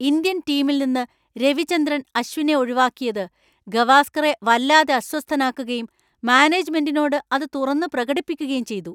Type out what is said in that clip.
Indian ടീമിൽ നിന്ന് രവിചന്ദ്രൻ അശ്വിനെ ഒഴിവാക്കിയത് ഗവാസ്‌കറെ വല്ലാതെ അസ്വസ്ഥനാക്കുകയും മാനേജ്‌മെന്റിനോട് അത് തുറന്നു പ്രകടിപ്പിക്കുകേം ചെയ്തു.